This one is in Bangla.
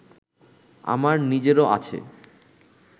আমার নিজেরও আছে